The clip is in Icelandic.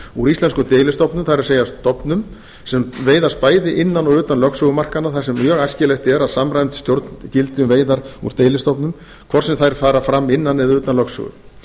úr íslenskum deilistofnum það er stofnum sem veiðast bæði innan og utan lögsögumarkanna þar sem mjög æskilegt er að samræmd stjórn gildi um veiðar úr deilistofnum hvort sem þær fara fram innan eða utan lögsögu